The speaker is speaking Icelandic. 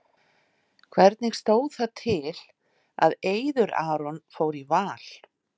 Hvernig stóð það til að Eiður Aron fór í Val?